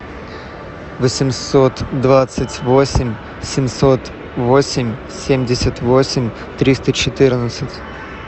восемьсот двадцать восемь семьсот восемь семьдесят восемь триста четырнадцать